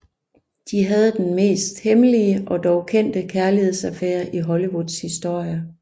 De havde den mest hemmelige og dog kendte kærlighedsaffære i Hollywoods historie